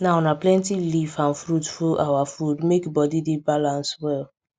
now na plenty leaf and fruit full our food make body dey balance well